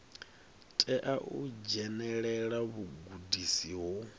tea u dzhenelela vhugudisi ho